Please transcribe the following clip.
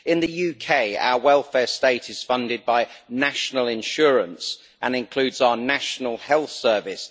In the UK, our welfare state is funded by National Insurance and includes our National Health Service.